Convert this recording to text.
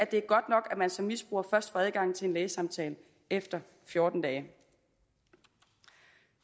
det er godt nok at man som misbruger først får adgang til en lægesamtale efter fjorten dage